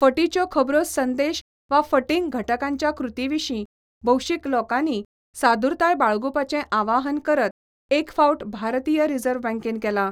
फटीच्यो खबरो संदेश वा फटींग घटकांच्या कृती विशीं भौशीक लोकांनी सादुरताय बाळगुपाचे आवाहन करत एक फावट भारतीय रिझर्व्ह बँकेन केला.